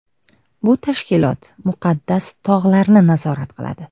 Bu tashkilot Muqaddas tog‘larni nazorat qiladi.